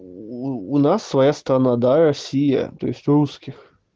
уу у нас своя страна да россия то есть у русских